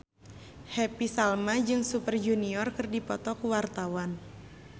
Happy Salma jeung Super Junior keur dipoto ku wartawan